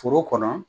Foro kɔnɔ